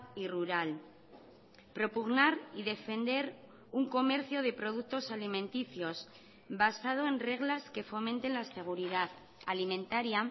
y rural propugnar y defender un comercio de productos alimenticios basado en reglas que fomenten la seguridad alimentaria